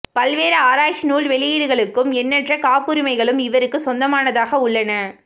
பல்வேறு ஆராய்ச்சி நூல் வெளியீடுகளுக்கும் எண்ணற்ற காப்புரிமைகளும் இவருக்கு சொந்தமானதாக உள்ளன